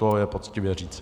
To je poctivé říci.